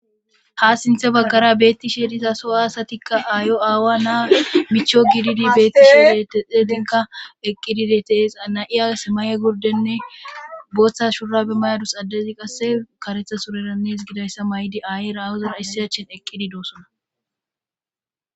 Ha sinthe baggara beetti sheeriza so aasatikka aayo aawa naa micho gididi beetti shidetexedinka eqqidideteesa na'iyas may'e gurdenne booththa shura be mayadus addezi qasse karetha surerannes gidayssa may'di aaye rawozera issiyachen eqqidi doosona